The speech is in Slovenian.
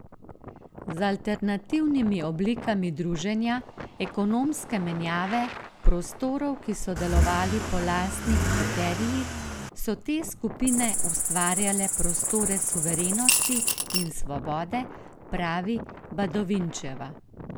Z alternativnimi oblikami druženja, ekonomske menjave, prostorov, ki so delovali po lastnih kriterijih, so te skupine ustvarjale prostore suverenosti in svobode, pravi Badovinčeva.